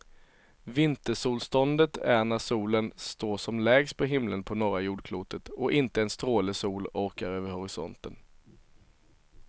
Vintersolståndet är när solen står som lägst på himlen på norra jordklotet och inte en stråle sol orkar över horisonten.